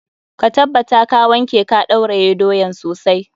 Ka tabbata ka wanke ka ɗauraye doyan sosai.